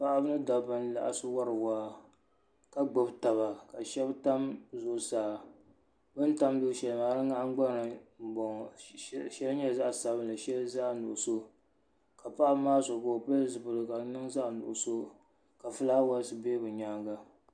Paɣaba mini dabba n laɣasi wari waa ka gbibi taba sheba tam zuɣusaa bini tam luɣu sheli di nahingbana m boŋɔ sheli nyɛla zaɣa sabinli sheli nyɛla zaɣa nuɣuso ka paɣaba maa so ka o pili zipiligu zaɣa nuɣuso ka filaawaasi be bɛ nyaanga.